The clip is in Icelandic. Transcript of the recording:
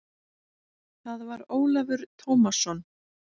Það var Ólafur Tómasson.